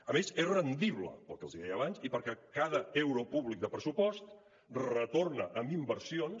a més és rendible pel que els deia abans i perquè cada euro públic de pressupost retorna en inversions